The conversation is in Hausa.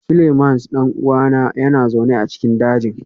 Seleimans ɗan'uwan yana zaune a cikin daji